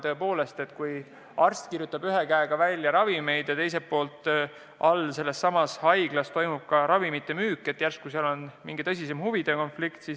Tõepoolest, kui arst kirjutab ühe käega välja ravimeid ja all sellessamas haiglas toimub ka ravimite müük, siis järsku on mängus mingi tõsisem huvide konflikt.